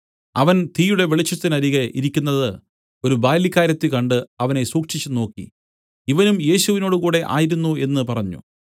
അവൻ തീയുടെ വെളിച്ചത്തിനരികെ ഇരിക്കുന്നത് ഒരു ബാല്യക്കാരത്തി കണ്ട് അവനെ സൂക്ഷിച്ചുനോക്കി ഇവനും യേശുവിനോടുകൂടെ ആയിരുന്നു എന്നു പറഞ്ഞു